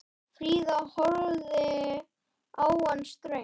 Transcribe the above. Fríða horfði á hann ströng.